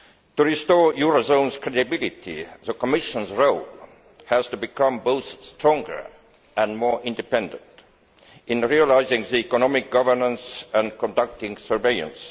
To restore the euro zone's credibility, the Commission's role has to be to become both stronger and more independent in exercising economic governance and conducting surveillance.